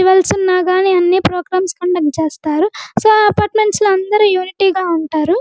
Festivals ఉన్న కాని అన్ని ప్రోగ్రాంస్ కండక్ట్ చేస్తారు సో అపార్ట్మెంట్స్ లో అందరు యూనిటీ గ ఉంటారు.